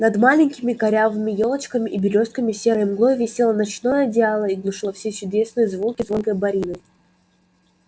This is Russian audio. над маленькими корявыми ёлочками и берёзками серой мглой висело ночное одеяло и глушило все чудесные звуки звонкой борины